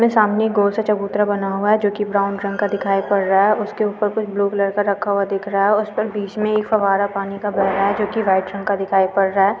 सामने गोल सा चबूतरा बना हुआ है जोकि ब्राउन रंग दिखाई पड़ रहा है। उसके ऊपर कुछ ब्लू कलर का रखा हुआ दिख रहा है। उस पर बीच में एक फव्वारा पानी का बेह रहा है जोकि वाइट रंग का दिखाई पड़ रहा है।